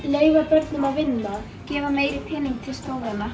leyfa börnum að vinna meiri pening fyrir skólana